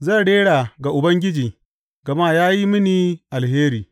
Zan rera ga Ubangiji gama ya yi mini alheri.